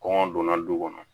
Kɔngɔ donna du kɔnɔ